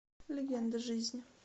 легенда жизни